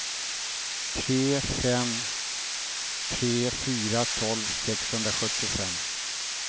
tre fem tre fyra tolv sexhundrasjuttiofem